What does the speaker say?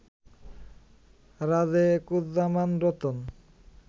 Rajekuzzaman Ratan